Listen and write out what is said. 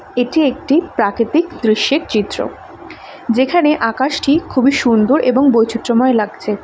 এটি একটি প্রাকৃতিক দৃশ্যের চিত্র যেখানে আকাশ টি খুবই সুন্দর এবং বৈচিত্র্যময় লাগছে।